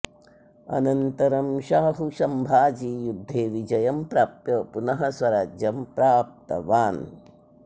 अनन्तरं शाहु संभाजी युद्धे विजयं प्राप्य पुनः स्वराज्यं प्राप्तवान्